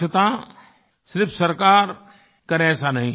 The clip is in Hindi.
स्वच्छता सिर्फ़ सरकार करे ऐसा नहीं